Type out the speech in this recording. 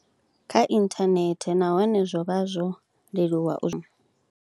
Kha inthanethe nahone zwo vha zwo leluwa u.